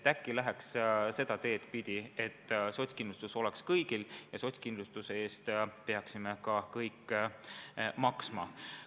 Äkki läheks seda teed pidi, et sotskindlustus oleks kõigil ja sotskindlustuse eest peaksime ka kõik maksma.